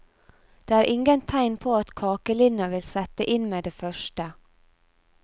Det er ingen tegn på at kakelinna vil sette inn med det første.